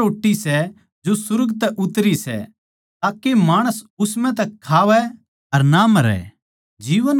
या वा रोट्टी सै जो सुर्ग तै उतरै सै ताके माणस उस म्ह तै खावै अर ना मरै